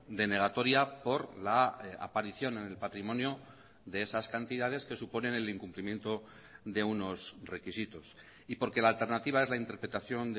denegatoria por la aparición en el patrimonio de esas cantidades que suponen el incumplimiento de unos requisitos y porque la alternativa es la interpretación